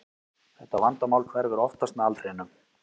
Þetta vandamál hverfur oftast með aldrinum.